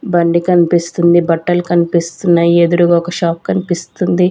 బండి కన్పిస్తుంది బట్టలు కన్పిస్తున్నాయి ఎదురుగా ఒక షాప్ కన్పిస్తుంది.